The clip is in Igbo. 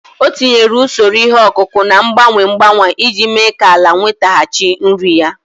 O tinyere usoro ihe ọkụkụ na-agbanwe agbanwe iji mee ka ala nwetaghachi nri ya.